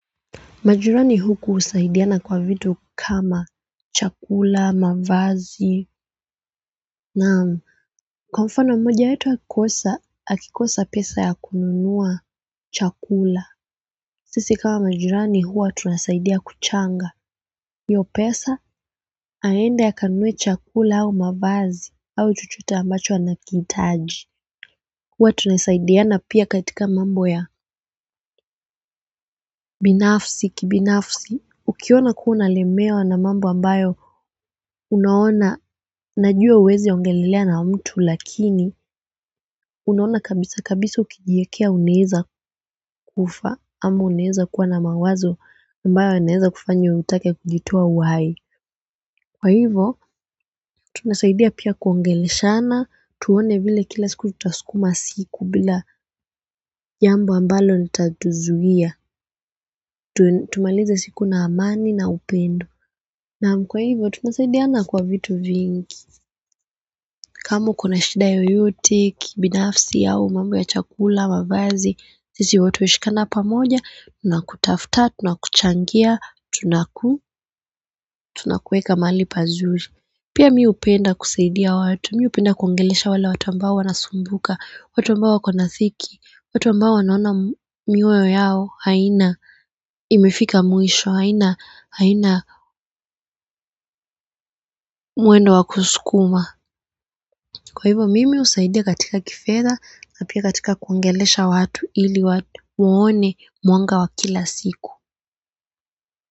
Majirani huku husaidiana kwa vitu kama chakula, mavazi, naam, kwa mfano mmoja wetu akikosa pesa ya kununua chakula. Sisi kama majirani huwa tunasaidia kuchanga. Hiyo pesa aende kununua chakula au mavazi au chochote ambacho anakihitaji. Huwa tunasaidiana pia katika mambo ya kibinafsi. Ukiona kuwa unalemewa na mambo ambayo unaona unajua huwezi ongelelea na mtu lakini unaona kabisa kabisa ukijiwekea unaweza kufa ama unaweza kuwa na mawazo ambayo yanaweza kufanya utake kujitoa uhai kwa hivyo, tunasaidia pia kuongeleshana, tuone vile kila siku tutasukuma siku bila jambo ambalo litatuzuia, tumalize siku na amani na upendo. Naam kwa hivyo, tunasaidiana kwa vitu vingi. Kama ukona shida yoyote, kibinafsi yao, mambo ya chakula, mavazi, sisi huwa tunashikana pamoja, tunakutafuta, tunakuchangia, tunaku, tunakuweka mahali pazuri. Pia mimi hupenda kusaidia watu, napenda kuongelesha wale watu ambao wanasumbuka, watu ambao wako na dhiki, watu ambao wanaona maisha yao, haina imefika mwisho, haina mwendo wa kusukuma. Kwa hivyo mimi husaidia katika kifedha, na pia katika kuongelesha watu ili watu waone mwanga wa kila siku.